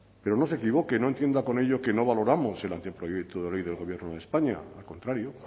pero no se equivoque no entienda con ello que no valoramos el anteproyecto de ley del gobierno de españa al contrario